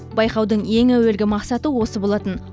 байқаудың ең әуелгі мақсаты осы болатын